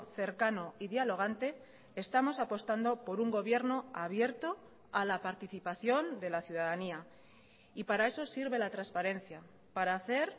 cercano y dialogante estamos apostando por un gobierno abierto a la participación de la ciudadanía y para eso sirve la transparencia para hacer